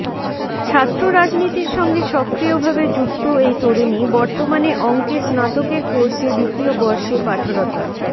ছাত্র রাজনীতির সঙ্গে সক্রিয়ভাবে যুক্ত এই তরুণী বর্তমানে অঙ্কে স্নাতকের কোর্সে দ্বিতীয় বর্ষে পাঠরতা